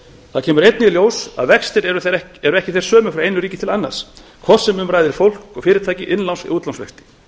það kemur einnig í ljós að vextir eru ekki þeir sömu frá einu ríki til annars hvort sem um ræðir fólk og fyrirtæki innláns eða útlánsvexti